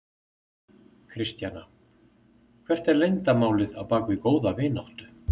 Kristjana: Hvert er leyndarmálið á bak við góða vináttu?